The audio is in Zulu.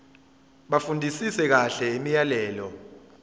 bafundisise kahle imiyalelo